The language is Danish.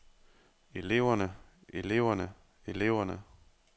eleverne eleverne eleverne